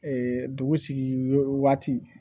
dugu sigi waati